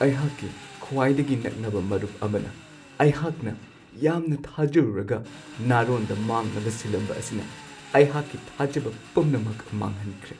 ꯑꯩꯍꯥꯛꯀꯤ ꯈ꯭ꯋꯥꯏꯗꯒꯤ ꯅꯛꯅꯕ ꯃꯔꯨꯞ ꯑꯃꯅ ꯑꯩꯍꯥꯛꯅ ꯌꯥꯝꯅ ꯊꯥꯖꯔꯨꯔꯒ ꯅꯥꯔꯣꯟꯗ ꯃꯥꯡꯅꯕ ꯁꯤꯜꯂꯝꯕ ꯑꯁꯤꯅ ꯑꯩꯍꯥꯛꯀꯤ ꯊꯥꯖꯕ ꯄꯨꯝꯅꯃꯛ-ꯃꯥꯡꯍꯟꯈ꯭ꯔꯦ꯫